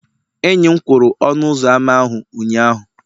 enyi m kwụrụ ọnụ ụzọ ámá ahụ ụnyahụ.